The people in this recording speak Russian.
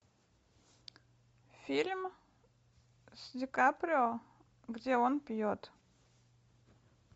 фильм с дикаприо где он пьет